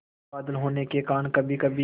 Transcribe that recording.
बादल होने के कारण कभीकभी